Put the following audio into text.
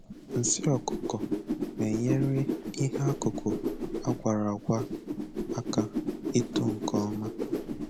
Nsị ọkụkọ na-enyere ihe akụkụ agwara agwa aka ito nke ọma